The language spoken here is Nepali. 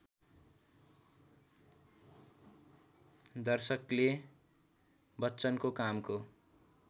दर्शकले बच्चनको कामको